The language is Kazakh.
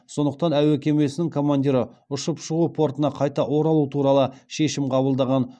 сондықтан әуе кемесінің командирі ұшып шығу портына қайта оралу туралы шешім қабылдаған